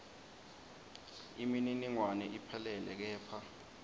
imininingwane iphelele kepha